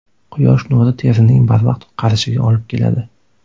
Quyosh nuri terining barvaqt qarishiga olib keladi.